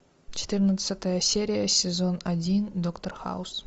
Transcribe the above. четырнадцатая серия сезон один доктор хаус